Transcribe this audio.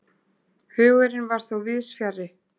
Hugurinn var þó víðs fjarri.